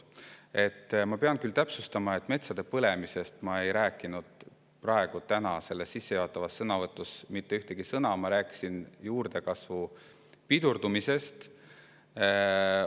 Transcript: Ma pean täpsustama, et metsade põlemisest ei rääkinud ma oma tänases sissejuhatavas mitte ühtegi sõna, vaid ma rääkisin nende juurdekasvu pidurdumisest.